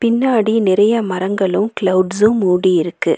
பின்னாடி நெறைய மரங்களு கிளவுட்ஸு மூடி இருக்கு.